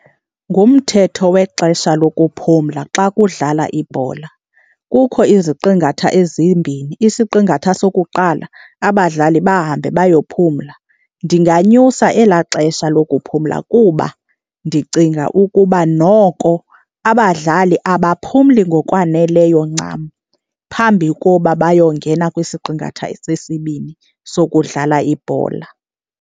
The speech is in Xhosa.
Ngumthetho wexesha lokuphumla xa kudlala ibhola. Kukho iziqingatha ezimbini, isiqingatha sokuqala abadlali bahambe bayophumla. Ndinganyusa elaa xesha lokuphumla kuba ndicinga ukuba noko abadlali abaphumli ngokwaneleyo ncam phambi koba bayongena kwisiqingatha sesibini sokudlala ibhola.